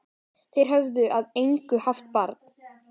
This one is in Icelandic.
Þeir höfðu að engu haft bann